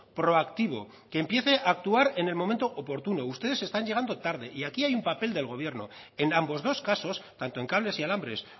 proactivo que empiece a actuar en el momento oportuno ustedes están llegando tarde y aquí hay un papel del gobierno en ambos dos casos tanto en cables y alambres